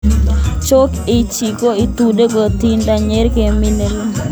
Jock itch ko iututi akotindoi ki nr kapit ne pele ing mastap ne tuitos porto parak ak nguny, suwet.